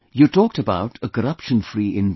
You talked about a corruption free India